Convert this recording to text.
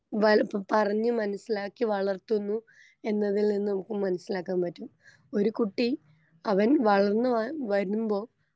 പറഞ്ഞ് മനസ്സിലാക്കി വളർത്തുന്നു എന്നതിൽ നിന്ന് നമുക്ക് മനസ്സിലാക്കാൻ പറ്റും ഒരു കുട്ടി അവൻ വളർന്ന വ വരുമ്പൊ.